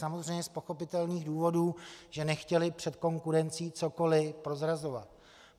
Samozřejmě z pochopitelných důvodů, že nechtěli před konkurencí cokoliv prozrazovat.